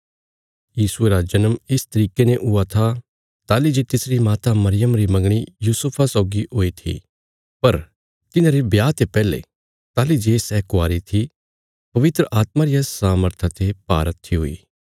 यीशु मसीह रा जन्म इस तरिके ने हुया था ताहली जे तिसरी माता मरियमा री मंगणी यूसुफा सौगी हुई थी पर तिन्हांरे ब्याह ते पैहले ताहली जे सै कवारी थी पवित्र आत्मा रिया सामर्था ते भारहत्थी हुई